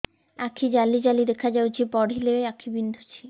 ଆଖି ଜାଲି ଜାଲି ଦେଖାଯାଉଛି ପଢିଲେ ଆଖି ବିନ୍ଧୁଛି